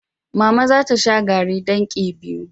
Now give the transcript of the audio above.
Mama za ta sha garri ɗankii biyu.